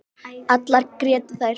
Allar grétu þær.